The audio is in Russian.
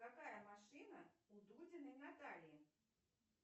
какая машина у дудиной натальи